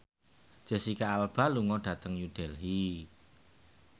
Jesicca Alba lunga dhateng New Delhi